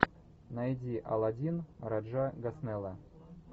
найди алладин раджа госнелла